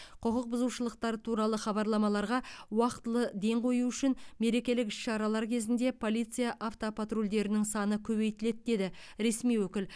құқық бұзушылықтар туралы хабарламаларға уақтылы ден қою үшін мерекелік іс шаралар кезінде полиция автопатрульдерінің саны көбейтіледі деді ресми өкіл